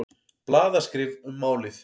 Blaðaskrif um málið.